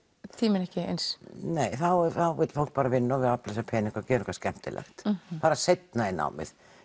tíminn ekki eins nei þá vill fólk vinna afla sér pening og gera eitthvað skemmtilegt fara seinna í námið